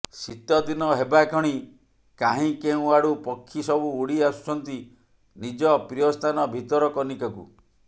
ଶୀତଦିନ ହେବା କ୍ଷଣି କାହିଁ କେଉଁ ଆଡୁ ପକ୍ଷୀ ସବୁ ଉଡି ଆସୁଛନ୍ତି ନିଜ ପ୍ରିୟସ୍ଥାନ ଭିତରକନିକାକୁ